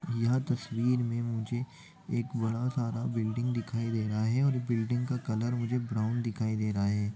यह तस्वीर में मुझे एक बड़ा सारा बिल्डिंग दिखाई दे रहा हैऔर बिल्डिंग का कलर मुझे ब्राउन दिखाई दे रहा है।